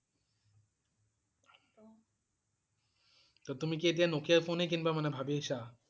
তহ তুমি কি এতিয়া Nokia ফোনে কিনিবা, মানে ভাবিছা?